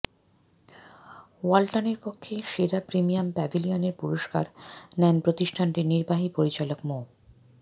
ওয়ালটনের পক্ষে সেরা প্রিমিয়াম প্যাভিলিয়নের পুরস্কার নেন প্রতিষ্ঠানটির নির্বাহী পরিচালক মো